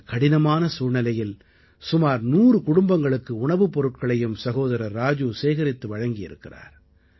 இந்தக் கடினமான சூழ்நிலையில் சுமார் 100 குடும்பங்களுக்கு உணவுப் பொருட்களையும் சகோதரர் ராஜு சேகரித்து வழங்கி இருக்கிறார்